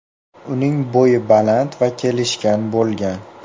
Uning bo‘yi baland va kelishgan bo‘lgan.